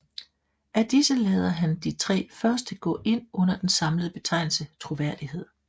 Af disse lader han de tre første gå ind under den samlede betegnelse troværdighed